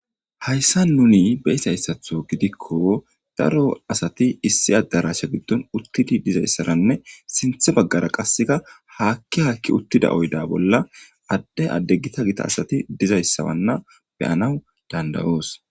hayssa nuni beysayssatho gidikko daro asati issi adarasha giddon uttidi dizayssaranne sinthe baggara qasseka haakki haakki uttida oyda bolla adde addeggita gita asati dizayssawanna beyanaw dandayoos